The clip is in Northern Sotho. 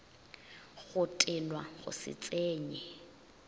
go tenwa go se tsenye